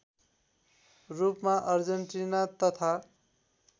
रूपमा अर्जेन्टिना तथा